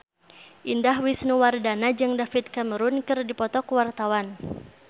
Indah Wisnuwardana jeung David Cameron keur dipoto ku wartawan